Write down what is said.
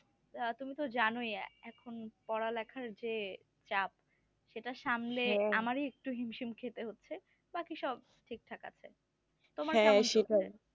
আহ তুমি তো জানোই এখন পড়ালেখার যে চাপ সেটা সামলে আমারই একটু হিমশিম খেতে হচ্ছে বাকি সব ঠিক থাকে আছে